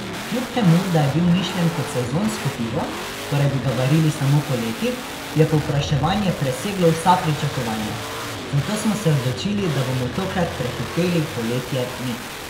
Kljub temu da je bil mišljen kot sezonsko pivo, torej bi ga varili samo poleti, je povpraševanje preseglo vsa pričakovanja, zato smo se odločili, da bomo tokrat prehiteli poletje mi!